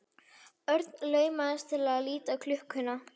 Örn laumaðist til að líta á klukkuna.